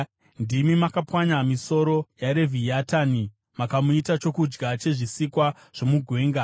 Ndimi makapwanya misoro yaRevhiatani, mukamuita chokudya chezvisikwa zvomugwenga.